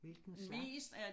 Hvilken slags